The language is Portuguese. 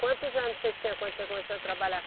Quantos anos você tinha quando você começou a trabalhar